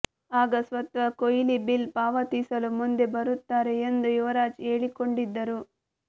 ಆಗ ಸ್ವತಃ ಕೊಹ್ಲಿ ಬಿಲ್ ಪಾವತಿಸಲು ಮುಂದೆ ಬರುತ್ತಾರೆ ಎಂದು ಯುವರಾಜ್ ಹೇಳಿಕೊಂಡಿದ್ದರು